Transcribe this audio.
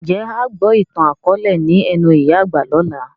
Ń jẹ́ a gbọ ìtàn akọ̀ọ̀lẹ ni ẹnu ìyá àgbà lọ́la?